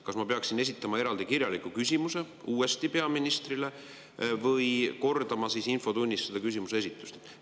Kas ma peaksin esitama uuesti eraldi kirjaliku küsimuse peaministrile või kordama siis infotunnis seda küsimuse esitust?